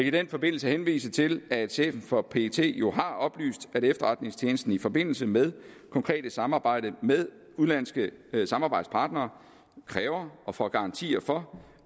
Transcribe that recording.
i den forbindelse henvise til at chefen for pet jo har oplyst at efterretningstjenesten i forbindelse med konkret samarbejde med udenlandske samarbejdspartnere kræver og får garanti for